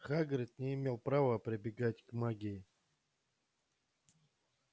хагрид не имел права прибегать к магии